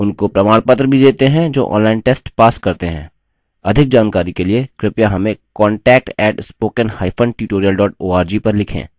उनको प्रमाणपत्र भी details हैं जो online test pass करते हैं अधिक जानकारी के लिए कृपया हमें contact @spoken hyphen tutorial org पर लिखें